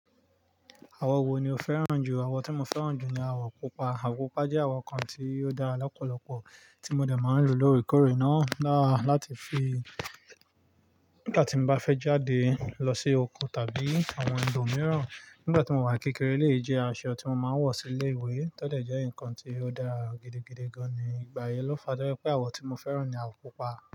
Àwọ̀ wo ni o fẹ́ràn jù? Àwọ̀ tí mo fẹ́ràn jù ni àwọ̀ pupa. Àwọ̀ pupa jẹ́ àwọ̀ kan tí ó dára lọ́pọ̀lọ́pọ̀ tí mo dè máa ń lò lóòrèkóòrè náà. Láti fi nígbà tí mo bá fẹ́ jáde lọ sí oko tàbí àwọn ibòmíràn. Nígbà tí mo wà kékeré, elèyi jẹ́ aṣọ tí mo máa ń wọ̀ sí ilé ìwé. Tótẹ̀ jẹ́ nǹkan tí ó dára gidigidi gan ni ìgbà yìí lọ́fa dẹ́ pé àwọ̀ tí mo fẹ́ràn ni àwọ̀ pupa.